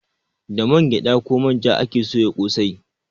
Da man gyada ko manja ake soya kosai